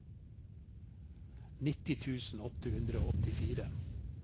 nitti tusen åtte hundre og åttifire